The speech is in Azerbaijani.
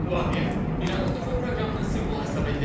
Bu obyekt İranın nüvə proqramının simvolu hesab edilir.